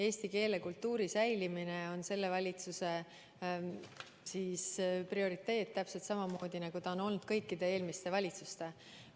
Eesti keele ja kultuuri säilimine on selle valitsuse prioriteet täpselt samamoodi, nagu ta on olnud kõikide eelmiste valitsuste prioriteet.